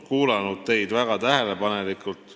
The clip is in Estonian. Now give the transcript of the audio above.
Olen kuulanud teid väga tähelepanelikult.